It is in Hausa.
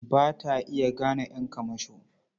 Ba ta iya gane ƴan kamasho.